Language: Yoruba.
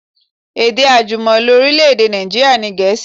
Èdè àjùmọ̀lo orílẹ̀-èdè Nàìjíríà ni Gẹ̀ẹ́sì